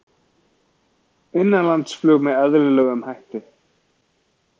Innanlandsflug með eðlilegum hætti